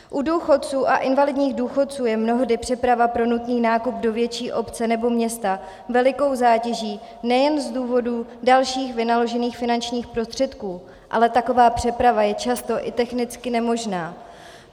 U důchodců a invalidních důchodců je mnohdy přeprava pro nutný nákup do větší obce nebo města velikou zátěží, nejen z důvodů dalších vynaložených finančních prostředků, ale taková přeprava je často i technicky nemožná.